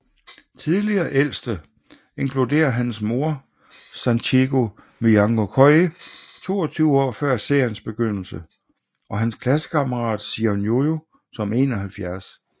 Tidligere Ældste inkluderer hans mor Sachiho Miyanokouji 22 år før seriens begyndelse og hans klassekammerat Sion Jujo som 71